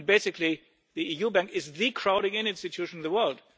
in. Basically, the EU Bank is the crowding in institution in the world.